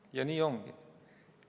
Ja nii ongi!